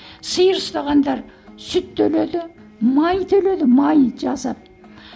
сиыр ұстағандар сүт төледі май төледі май жасап